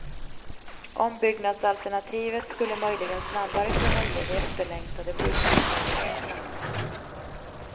Ombyggnadsalternativet skulle möjligen snabbare kunna ge de efterlängtade sjukhemslägenheterna.